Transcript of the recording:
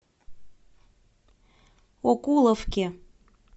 окуловке